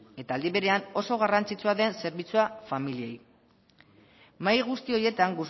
eta aldi berean oso garrantzitsua den zerbitzua familiei mahai guzti horietan